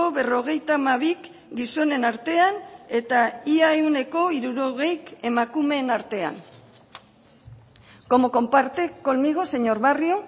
berrogeita hamabik gizonen artean eta ia ehuneko hirurogeik emakumeen artean como comparte conmigo señor barrio